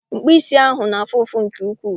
Mkpụ isi ahụ na-afụ ụfụ nke ukwuu